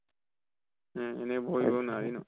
উম এনে বহিব নোৱাৰি ন